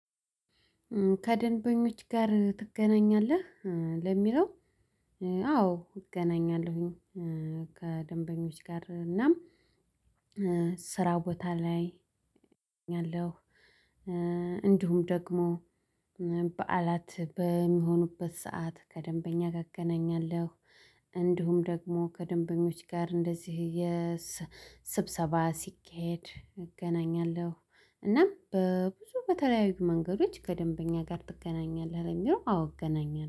ከደንበኞች ጋር ትገናኛለህ? ለሚለው አዎ እገናኛለሁኝ። ከደንበኞች ጋር እናም ስራ ቦታ ላይ እገኛለሁ። እንዲሁም ደግሞ በዓላት በሚሆኑበት ሰዓት ከደንበኛ እገናኛለሁ። እንዲሁም ደግሞ ከደንበኞች ጋር እንደዚህ የስ ስብሰባ ሲካሄድ እገናኛለሁ። እና በብዙ በተለያዩ መንገዶች ከደንበኛ ጋር ትገናኛለህ? አዎ አገናኛለሁ